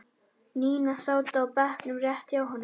Nína sátu á bekk rétt hjá honum.